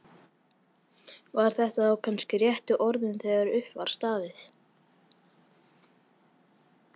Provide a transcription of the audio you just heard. Voru þetta þá kannski réttu orðin þegar upp var staðið?